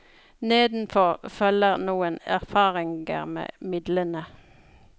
Nedenfor følger noen erfaringe med midlene.